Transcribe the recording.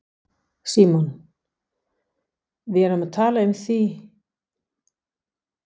Símon: Við erum því að tala um háar fjárhæðir?